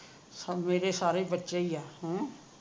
ਸਬ ਮੇਰੇ ਸਾਰੇ ਬੱਚੇ ਹੀ ਆ ਹਮ